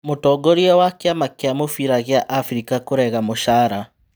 Mũtongoria wa kĩ ama kĩ a mũbira gĩ a Afrika kũrega mũcara.